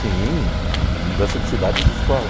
Sim, uma mudança de cidade e de escola.